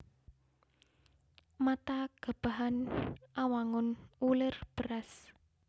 Mata Gabahan Awangun wulir beras